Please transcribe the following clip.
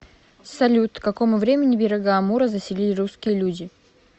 салют к какому времени берега амура заселили русские люди